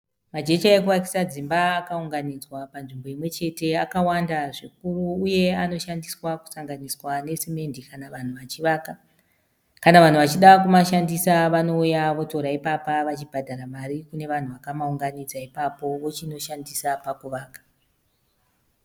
Majecha ekuvakisa dzimba akaunganidzwa panzvimbo imwechete akawanda zvikuru uye anoshandiswa kusanganiswa nesemende kana vanhu vachivaka. Kana vanhu vachida kumashandisa vanouya votora ipapo vachibhadhara mari kune vakaaunganidza ipapo vochinoshandisa pakuvaka.